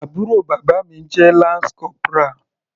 Àbúrò bàbá mi jẹ́ lance corporal.